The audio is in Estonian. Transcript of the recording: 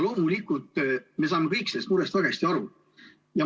Loomulikult me saame kõik sellest murest väga hästi aru.